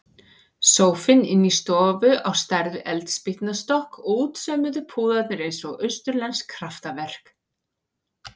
Sófinn inni í stofu á stærð við eldspýtnastokk og útsaumuðu púðarnir eins og austurlensk kraftaverk.